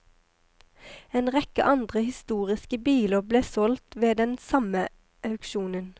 En rekke andre historiske biler ble solgt ved den samme auksjonen.